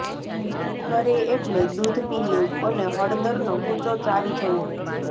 ઠરે એટલે દૂધ પી લેવું અને હળદરનો કૂચો ચાવી જવો